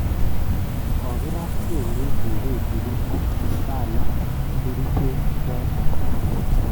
Kogirata kelyek kou kechiryet age sala kericheek choto